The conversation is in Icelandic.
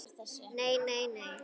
NEI, NEI, NEI.